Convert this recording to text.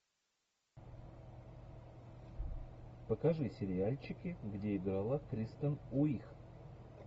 покажи сериальчики где играла кристен уиг